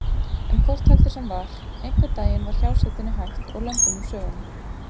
En hvort heldur sem var: einhvern daginn var hjásetunni hætt og lömbin úr sögunni.